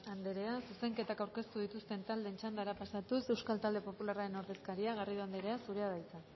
anderea zuzenketak aurkeztu dituzten taldeen txandara pasatuz euskal talde popularraren ordezkaria garrido anderea zurea de hitza